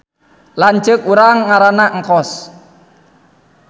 Lanceuk urang ngaranna Engkos